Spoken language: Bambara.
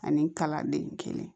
Ani kalanden kelen